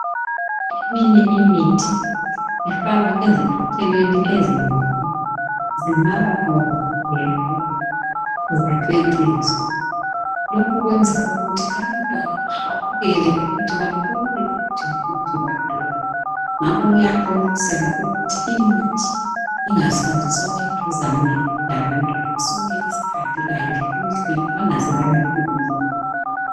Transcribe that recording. Eminye imithi ifakwa eziphathelweni ezinhle, zingaba bomvu gebhu, ziceciswe. Lokhu kwenza ukuthi abantwana bahawukele ukuthi babone ukuthu ngumuthi bani lowu. Ngango kuyaqhonqoselwa ukuthi imithi ingahlaliswa eduzane labantwana, sonke isikhathi ayifihlwe bangaze bayifinyelele.